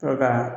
Sɔrɔ ka